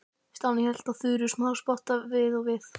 Stjáni hélt á Þuru smáspotta við og við.